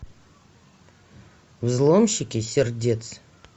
взломщики сердец